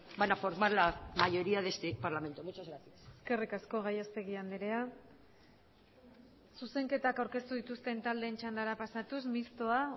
van a formar la mayoría de este parlamento muchas gracias eskerrik asko gallastegui andrea zuzenketak aurkeztu dituzten taldeen txandara pasatuz mistoa